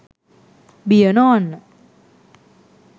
බිය නොවන්න